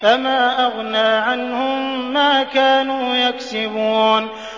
فَمَا أَغْنَىٰ عَنْهُم مَّا كَانُوا يَكْسِبُونَ